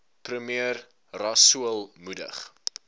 premier rasool moedig